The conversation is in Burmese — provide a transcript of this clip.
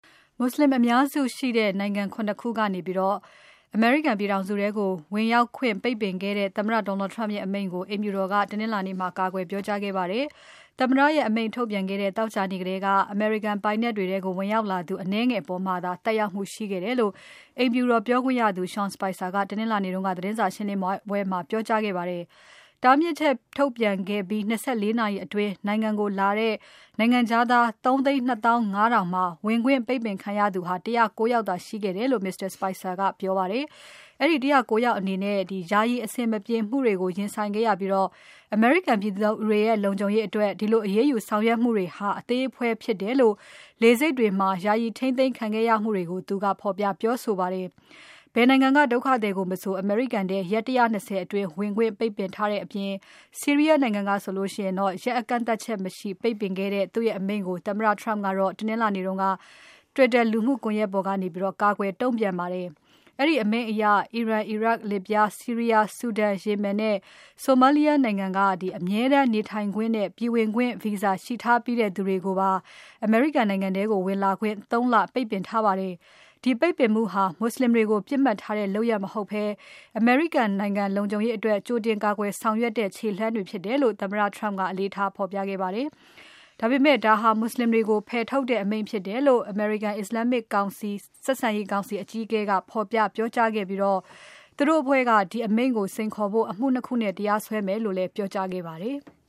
မွတ်ဆလင်အများစုနေထိုင်တဲ့ နိုင်ငံ ၇ ခုကသူတွေကို အမေရိကန်ပြည်ထောင်စုထဲကို ဝင်ရောက်ခွင့်ကို ပိတ်ပင်ခဲ့တဲ့ သမ္မတ Donald Trump ရဲ့အမိန့်ကို အိမ်ဖြူတော်က တနင်္လာနေ့မှာ ကာကွယ်ပြောကြားခဲ့ပါတယ်။ သမ္မတရဲ့ အမိန့်ထုတ်ပြန်ခဲ့တဲ့ သောကြာနေ့ထဲက အမေရိကန်ပိုင်နက်တွေထဲကို ဝင်ရောက်လာသူ အနည်းငယ်အပေါ်မှာသာ သက်ရောက်မှုရှိခဲ့တယ်လို့ အိမ်ဖြူတော်ပြောခွင့်ရသူ Sean Spicer ကတနင်္လာနေ့က သတင်းစာရှင်းပွဲမှာ ပြောကြားခဲ့ပါတယ်။ တားမြစ်ချက်ထုတ်ပြန်ပြီး ၂၄ နာရီအတွင်း နိုင်ငံခြားသား ၃ သိန်း ၂ သောင်း ၅ ထောင်မှာ ဝင်ခွင့်ပိတ်ပင်ခံရသူ ၁၀၉ ယောက်သာ ရှိခဲ့တယ်လို့ Mr. Spicer ကပြောပါတယ်။ အဲဒီ ၁၀၉ ယောက်အနေနဲ့ ယာယီအဆင်မပြေမှုတွေကို ရင်ဆိုင်ခဲ့ရပြီး၊ အမေရိကန်ပြည်သူတွေရဲ့ လုံခြုံရေးအတွက် ဒီလိုအရေးယူဆောင်ရွက်မှုဟာ အသေးအဖွဲ့ဖြစ်တယ်လို့ လေဆိပ်တွေမှာ ယာယီထိန်းသိမ်းခံခဲ့ရမှုတွေကို သူကဖော်ပြပြောဆိုခဲ့ပါတယ်။ ဘယ်နိုင်ငံကဒုက္ခသည်မဆို အမေရိကန်ထဲ ရက် ၁၂၀ အတွင်း ဝင်ခွင့်ပိတ်ထားတဲ့အပြင် ဆီးရီးယားနိုင်ငံကဆိုရင် ကန့်သတ်ချက်မရှိပိတ်ပင်ခဲ့တဲ့ သူ့ရဲ့အမိန့်ကို သမ္မတ Trump ကတနင်္လာနေ့ Twitter လူမှုကွန်ယက်ပေါ်ကနေ ကာကွယ်တုံ့ပြန်ခဲ့ပါတယ်။ အဲဒီအမိန့်အရ အီရန်၊ အီရတ်၊ လစ်ဗျား၊ ဆီးရီးယား၊ ဆူဒန်၊ Yeman နဲ့ Somalia နိုင်ငံက အမြဲတမ်းနေထိုင်ခွင့်နဲ့ ပြည်ဝင်ခွင့် Visa ရှိထားပြီးသူတွေကိုပါ နိုင်ငံထဲဝင်လာခွင့် ၃ လ ပိတ်ပင်ထားပါတယ်။ ဒီပိတ်ပင်မှုဟာ မွတ်ဆလင်ပြစ်မှတ်ထားတဲ့ လုပ်ရပ်မဟုတ်ဘဲ အမေရိကန်နိုင်ငံ လုံခြုံရေးအတွက်ကြိုတင်ကာကွယ်ဆောင်ရွက်တဲ့ ခြေလှမ်းတွေဖြစ်တယ်လို့ သမ္မတ Trump က အလေးထား ဖော်ပြခဲ့ပါတယ်။ ဒါပေမဲ့ ဒါဟာ မွတ်ဆလင်တွေကို ဖယ်ထုတ်တဲ့အမိန့်ဖြစ်တယ်လို့ American-Islamic ဆက်ဆံရေးကောင်စီ အကြီးအကဲက ဖော်ပြပြောကြားခဲ့ပြီး သူတို့အဖွဲ့က ဒီအမိန့်ကို စိန်ခေါ်ဖို့ အမှု ၂ ခုနဲ့တရားစွဲမယ်လို့ ပြောကြားခဲ့ပါတယ်။